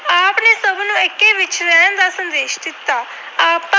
ਦਾ ਸੰਦੇਸ਼ ਦਿੱਤਾ।